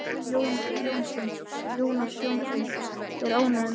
Jónas Jónsson er ánægður með hana.